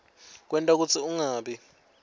kwenta kutsi ungabi